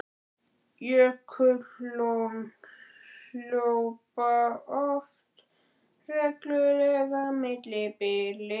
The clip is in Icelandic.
Jökullón hlaupa oft með reglulegu millibili.